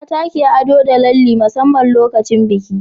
mata ke ado da lalle musamman lokacin biki